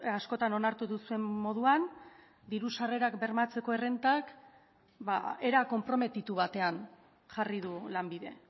askotan onartu duzuen moduan diru sarrerak bermatzeko errentak era konprometitu batean jarri du lanbide